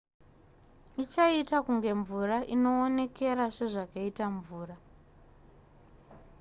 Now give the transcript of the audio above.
ichaita kunge mvura inoonekera sezvakaita mvura